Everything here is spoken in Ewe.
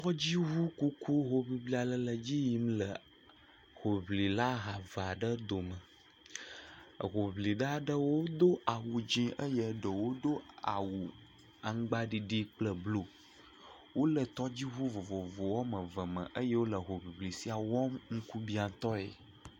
Tɔdziŋukuku hoŋiŋli ale le dzi yim le hoŋlila ha evea ɖe dome. Hoŋlila aɖewo do awu dze eye ɖewo do awu aŋgba ɖiɖi kple blu. Wole tɔdziŋu vovovo woame eve me eye wole hoŋiŋli sia wɔm ŋkubiatɔe.